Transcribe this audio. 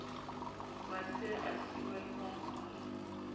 masea a siiwa le bonkgono